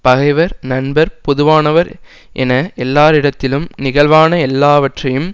பகைவர் நண்பர் பொதுவானவர் என எல்லாரிடத்திலும் நிகழ்வான எல்லாவற்றையும்